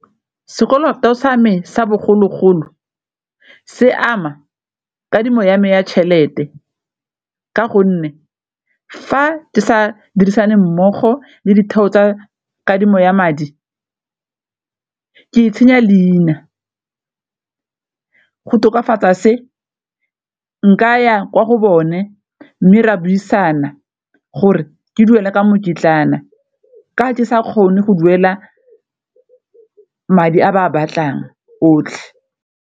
Sekoloto sa me sa bogologolo se ama kadimo ya me ya tšhelete ka gonne fa di sa dirisaneng mmogo le ditheo tsa kadimo ya madi ke itshenya leina, go tokafatsa se nka ya ko go bone mme re a buisana gore ke duela ka mokitlana ka ke sa kgone go duela madi a ba a batlang otlhe.